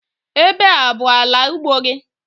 Ebe a abụ ala ugbo gị?